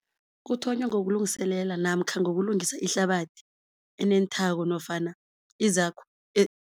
Kuthonywa ngokulungiselela namkha ngokulungisa ihlabathi enenthako nofana izakho